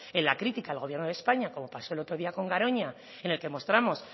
en la crítica al gobierno de españa como pasó el otro día con garoña en el que mostramos